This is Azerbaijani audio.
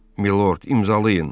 Milord, imzalayın.